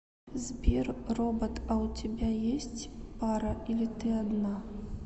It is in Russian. сбер робот а у тебя есть пара или ты одна